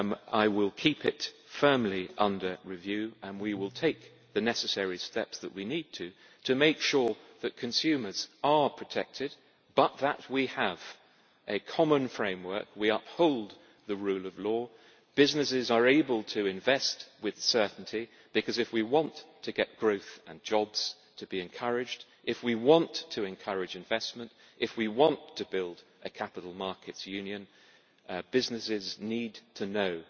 I will keep it firmly under review and we will take the necessary steps that we need to make sure that consumers are protected but that we have a common framework and we uphold the rule of law, so that businesses are able to invest with certainty, because if we want to get growth and jobs to be encouraged, if we want to encourage investment, and if we want to build a capital markets union, then businesses need to know